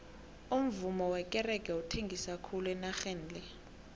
umuvummo wekerege uthengisa khulu enageni le